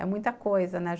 É muita coisa, né?